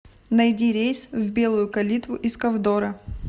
найди рейс в белую калитву из ковдора